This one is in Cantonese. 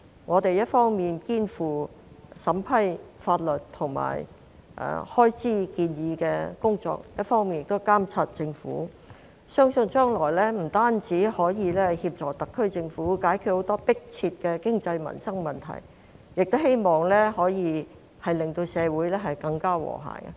我們一方面肩負審批法律和開支建議的工作，另一方面亦會監察政府，相信將來不單可以協助特區政府解決很多迫切的經濟民生問題，亦可以令社會更加和諧。